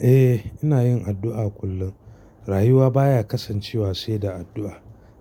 Eh ina yin addu'a kullum. Rayuwa baya kasancewa sai da addu'a.